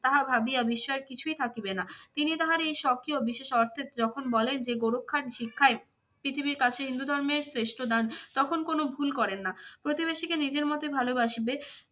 তাহা ভাবিয়া বিস্ময়ের কিছুই থাকিবে না। তিনি তাহার এই শখিও বিশেষ অর্থে যখন বলেন গোরক্ষার শিক্ষায় পৃথিবীর কাছে হিন্দু ধর্মের শ্রেষ্ঠ দান তখন কোন ভুল করেন না। প্রতিবেশীকে নিজের মতোই ভালবাসিবে